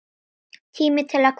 Tími til að kveðja.